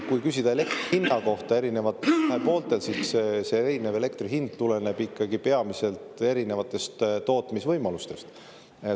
Kui küsida elektri hinna kohta eri pooltel, siis erinev elektri hind tuleneb ikkagi peamiselt erinevatest tootmisvõimalustest.